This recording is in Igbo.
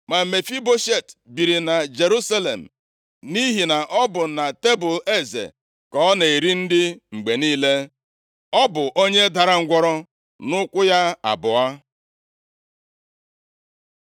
Ma Mefiboshet biri na Jerusalem nʼihi na ọ bụ na tebul eze ka ọ na-eri nri mgbe niile. Ọ bụ onye dara ngwụrọ nʼụkwụ ya abụọ.